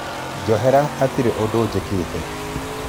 Njohera hatirĩ ũndũ ingĩka.